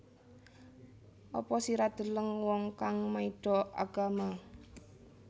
Apa sira deleng wong kang maido agama